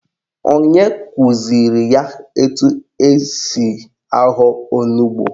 Onye kụziri ya etu esi ahọ onugbo?